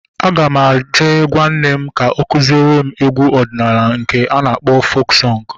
Aga m eje gwaa nne m ka o kụziere m egwu ọdịnala nke a na-akpọ fok sọng